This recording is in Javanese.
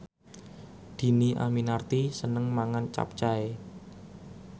Dhini Aminarti seneng mangan capcay